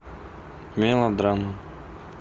мелодрама